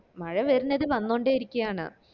മഴ വരുന്നത് വന്നോണ്ടേ ഇരിക്കയാണ്